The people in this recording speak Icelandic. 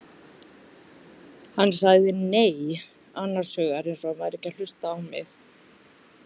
Hann sagði nei, annars hugar eins og hann væri ekki að hlusta á mig.